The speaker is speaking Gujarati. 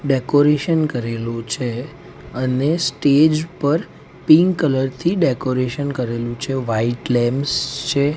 ડેકોરેશન કરેલુ છે અને સ્ટેજ પર પિંક કલર થી ડેકોરેશન કરેલુ છે વ્હાઇટ લેમ્પ્સ છે.